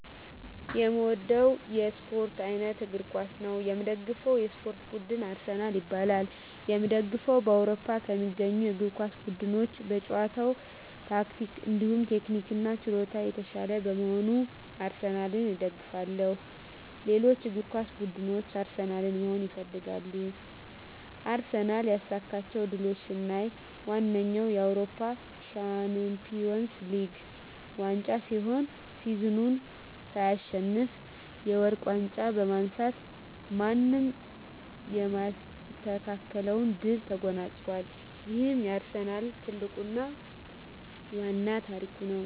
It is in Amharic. የእምወደዉ የእስፖርት አይነት እግር ኳስ ነዉ። የምደግፈዉ የእስፖርት ቡድንም አርሰናል ይባላል። የእምደግፈዉም በአዉሮፖ ከሚገኙ የእግር ኳስ ቡድኖች በጨዋታ ታክቲክ እንዲሁም ቴክኒክና ችሎታ የታሻለ በመሆኑ አርሰናልን እደግፋለሁ። ሌሎች እግር ኳስ ብድኖች አርሰናልን መሆን ይፈልጋሉ። አርሰናል ያሳካቸዉ ድሎች ስናይ ዋነኛዉ የአዉሮፖ ሻንፒወንስ ሊግ ዋንጫ ሲሆን ሲዝኑን ሳይሸነፍ የወርቅ ዋንጫ በማንሳት ማንም የማይስተካከለዉን ድል ተጎናፅፋል ይሄም የአርሰናል ትልቁና ዋናዉ ታሪክ ነዉ።